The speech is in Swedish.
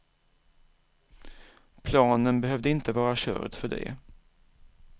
Planen behövde inte vara körd för det.